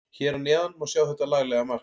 Hér að neðan má sjá þetta laglega mark.